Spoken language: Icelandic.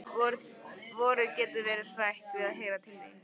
Vorið getur orðið hrætt við að heyra til þín.